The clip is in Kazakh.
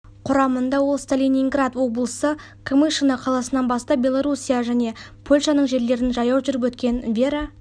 құрамында ол сталининград облысы камышино қаласынан бастап белоруссия және польшаның жерлерін жаяу жүріп өткен вера